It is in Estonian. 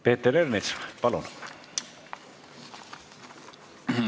Peeter Ernits, palun!